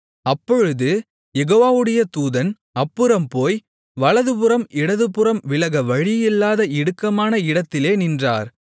அப்பொழுது யெகோவாவுடைய தூதன் அப்புறம் போய் வலதுபுறம் இடதுபுறம் விலக வழியில்லாத இடுக்கமான இடத்திலே நின்றார்